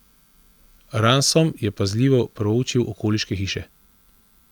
Ransom je pazljivo proučil okoliške hiše.